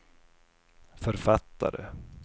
författare